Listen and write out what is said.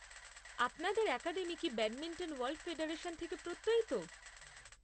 আপনাদের অ্যাকাডেমি কি badminton world federation থেকে প্রত্যয়িত?